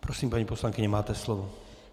Prosím, paní poslankyně, máte slovo.